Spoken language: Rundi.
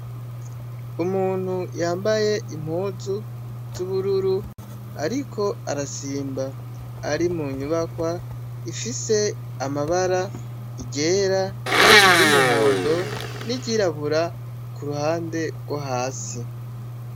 Umuntu yambaye impuzu z'ubururu, ariko arasimba, ari mu nyubakwa ifise amabara , iryera, iry'umuhondo n'iryirabura kuruhande gwo hasi.